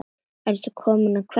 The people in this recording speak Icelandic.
Ertu kominn að kveðja?